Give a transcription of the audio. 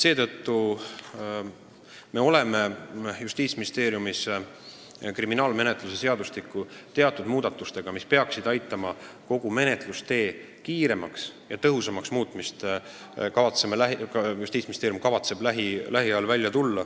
Seetõttu kavatseb Justiitsministeerium lähiajal välja tulla kriminaalmenetluse seadustiku muudatustega, mis peaksid aitama kogu menetlustee kiiremaks ja tõhusamaks muuta.